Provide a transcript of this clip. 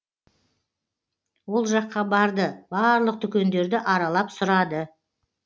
ол жаққа барды барлық дүкендерді аралап сұрады